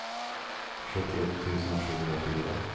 sjuttioett tusen sjuhundrafyra